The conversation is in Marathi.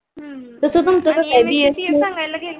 तस तुमच कस आहे